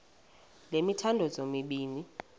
le mithandazo mibini